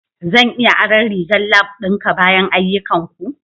Zan iya aron rigar lab ɗinka bayan ayyukanku?